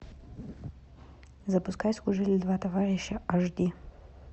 запускай служили два товарища аш ди